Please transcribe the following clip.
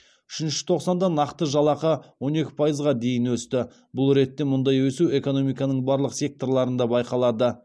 үшінші тоқсанда нақты жалақы он екі пайызға дейін өсті бұл ретте мұндай өсу экономиканың барлық секторларында байқалады